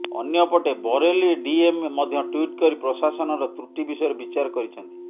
ଅନ୍ୟପଟେ ବରେଲି ଡିଏମ୍ ମଧ୍ୟ ଟ୍ବିଟ୍ କରି ପ୍ରଶାସନର ତ୍ରୁଟି ବିଷୟରେ ବିଚାର କରିଛନ୍ତି